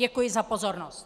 Děkuji za pozornost.